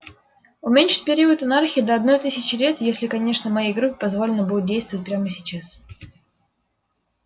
уменьшить период анархии до одной тысячи лет если конечно моей группе позволено будет действовать прямо сейчас